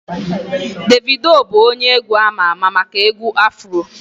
Davido bụ onye egwu ama ama maka egwu Afro